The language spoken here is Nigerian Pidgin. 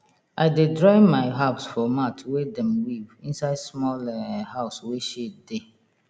i dey dry my herbs for mat wey dem weave inside small um house wey shade dey